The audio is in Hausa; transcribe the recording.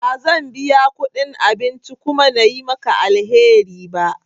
Ba zan biya kudin abinci kuma na yi maka alheri ba.